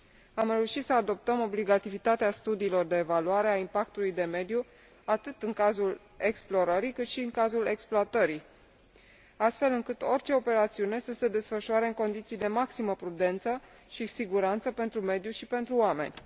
Am reușit să adoptăm obligativitatea studiilor de evaluare a impactului de mediu atât în cazul explorării, cât și în cazul exploatării, astfel încât orice operațiune să se desfășoare în condiții de maximă prudență și siguranță pentru mediu și pentru oameni.